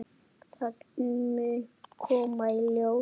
Það mun koma í ljós.